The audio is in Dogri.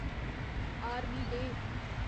army day